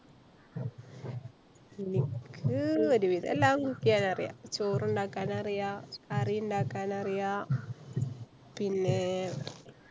എനിക്ക്~ ഒരുവിധം എല്ലാം cook ഈയാനറിയാം. ചോറ് ഇണ്ടാക്കാൻ അറിയാം, കറി ഇണ്ടാക്കാൻ അറിയാം പിന്നെ~ ചായ ഇണ്ടാക്കാൻ അറിയാം.